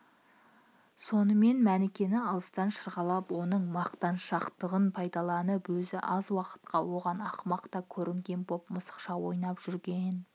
сонымен мәнікені алыстан шырғалап оның мақтаншақтығын пайдаланып өзі аз уақытқа оған ақымақ та көрінген боп мысықша ойнап жүрген